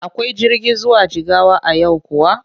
Akwai jirgi zuwa Jigawa a yau kuwa?